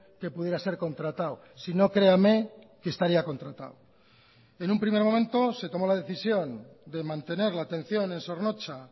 que pudiera ser contratado si no creame que estaría contratado en un primer momento se tomo la decisión de mantener la atención en zornotza